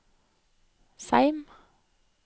Seim